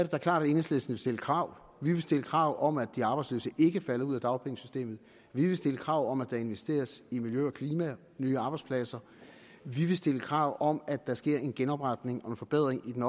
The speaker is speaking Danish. da klart at enhedslisten vil stille krav vi vil stille krav om at de arbejdsløse ikke falder ud af dagpengesystemet vi vil stille krav om at der investeres i miljø og klima nye arbejdspladser vi vil stille krav om at der sker en genopretning og forbedring i den